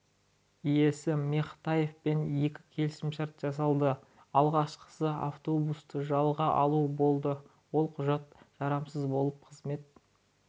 иесі мехтеевпен екі келісімшарт жасалды алғашқысы автобусты жалға алу болды ол құжат жарамсыз болып қызмет